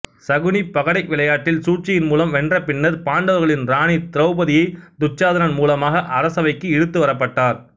சகுனி பகடை விளையாட்டில் சூழ்ச்சியின் மூலம் வென்ற பின்னர் பாண்டவர்களின் ராணி திரௌபதியை துச்சாதனன் மூலமாக அரசவைக்கு இழுத்து வரப்பட்டார்